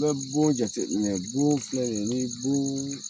I bɛ bon jateminɛ, bon filɛ ni bon.